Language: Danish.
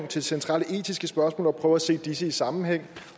til centrale etiske spørgsmål og prøver at se disse i sammenhæng